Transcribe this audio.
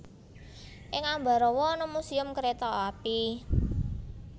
Ing Ambarawa ana Museum Kereta Api